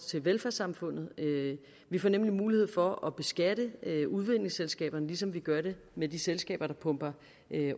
til velfærdssamfundet vi får nemlig mulighed for at beskatte udvindingsselskaberne ligesom vi gør det med de selskaber der pumper